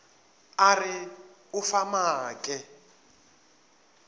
a re o fa maake